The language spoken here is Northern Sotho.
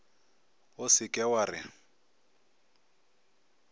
o se ke wa re